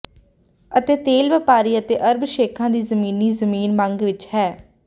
ਅਤੇ ਤੇਲ ਵਪਾਰੀ ਅਤੇ ਅਰਬ ਸ਼ੇਖਾਂ ਦੀ ਜ਼ਮੀਨੀ ਜ਼ਮੀਨ ਮੰਗ ਵਿਚ ਹੈ